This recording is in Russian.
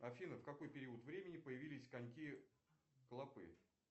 афина в какой период времени появились коньки клопы